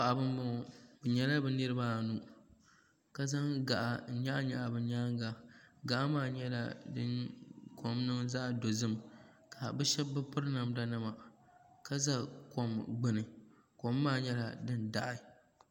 paɣ' ba n bɔŋɔ binyɛla bi niribaanu ka zan kaɣ' n nyɛgi nyɛgi be nyɛŋa kaɣ' maa kom nyɛla din nɛŋ dozim ka be shɛba be pɛri namda nima ka za kom gbani kom maa nyɛla din daɣ'